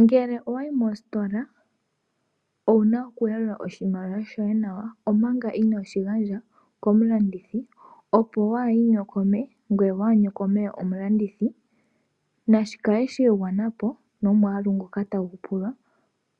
Ngele owa yi mositola owu na okuyalula oshimaliwa shoye nawa omanga ino shi gandja komulandithi, opo waa inyokome ngoye waa nyokome omulandithi. Na shi kale sha igwana po nomwaalu ngoka tagu pulwa